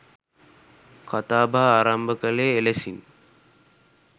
කථා බහ ආරම්භ කළේ එලෙසින්.